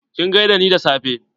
Kin gaida ni da safe?